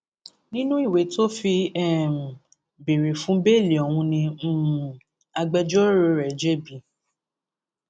nínú ìwé tó fi um béèrè fún bẹẹlí ọhún ní um agbẹjọrò rẹ jb